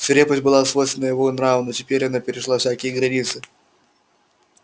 свирепость была свойственна его нраву но теперь она перешла всякие границы